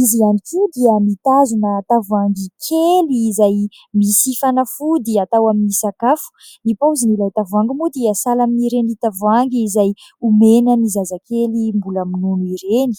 Izy ihany koa dia mitazona tavoahangy kely izay misy fanafody atao amin'ny sakafo. Ny paozin' ilay tavoahangy moa dia sahala amin'ireny tavoahangy izay omena ny zazakely mbola minono ireny.